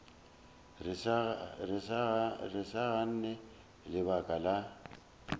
re sa gane lebaka la